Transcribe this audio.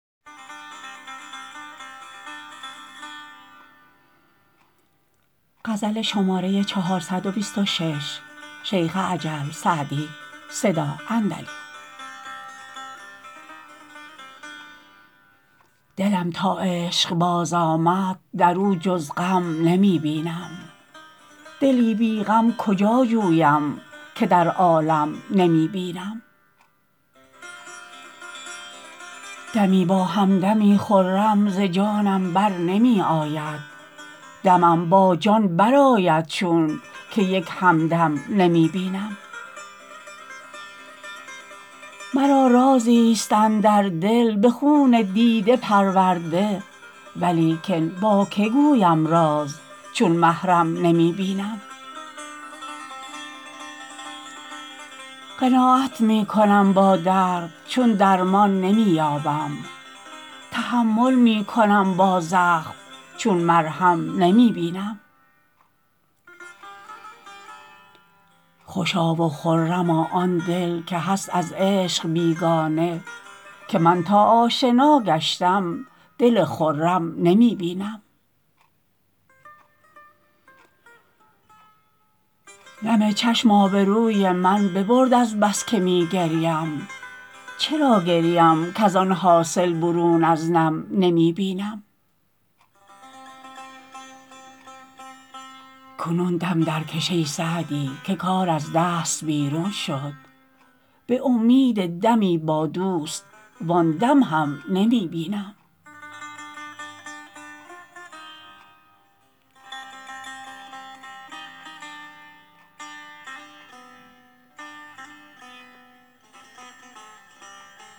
دلم تا عشق باز آمد در او جز غم نمی بینم دلی بی غم کجا جویم که در عالم نمی بینم دمی با هم دمی خرم ز جانم بر نمی آید دمم با جان برآید چون که یک هم دم نمی بینم مرا رازی ست اندر دل به خون دیده پرورده ولیکن با که گویم راز چون محرم نمی بینم قناعت می کنم با درد چون درمان نمی یابم تحمل می کنم با زخم چون مرهم نمی بینم خوشا و خرما آن دل که هست از عشق بیگانه که من تا آشنا گشتم دل خرم نمی بینم نم چشم آبروی من ببرد از بس که می گریم چرا گریم کز آن حاصل برون از نم نمی بینم کنون دم درکش ای سعدی که کار از دست بیرون شد به امید دمی با دوست وآن دم هم نمی بینم